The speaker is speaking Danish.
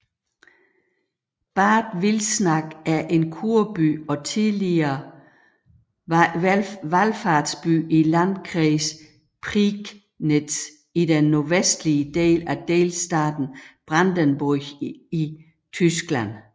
Bad Wilsnack er en Kurby og tidligere valfartsby i Landkreis Prignitz i den nordvestlige del af delstaten Brandenburg i Tyskland